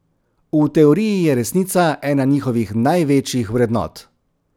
V teoriji je resnica ena njihovih največjih vrednot.